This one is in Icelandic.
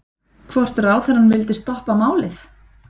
Hvort ráðherrann vildi stoppa málið?